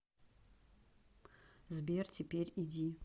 сбер теперь иди